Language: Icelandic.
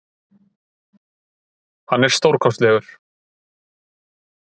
Hann er stórkostlegur.